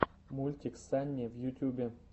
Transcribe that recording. мультик санни в ютьюбе